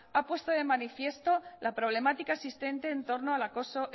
ha puesto de manifiesto la problemática existente entorno al acoso